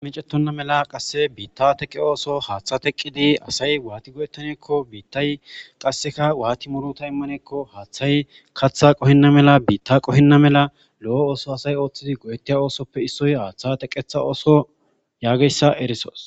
meecettonna mela qasse biitta teqe ooso haaththa teqqidi asay waati go7ettaneekko biittay qasseka waati murota immaneekko haaththay katha qohinna mela biitta qohinna mela lo7o ooso asay ooththidi go7ettiya oosoppe issoy haaththa teqetha ooso yaageyssa erisos.